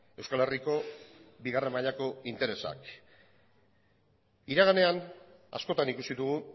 euskal herriko bigarren mailako interesak iraganean askotan ikusi dugu